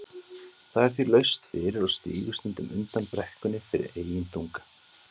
Það er því laust fyrir og sígur stundum undan brekkunni fyrir eigin þunga.